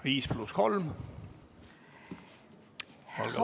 Viis pluss kolm minutit, olge lahked!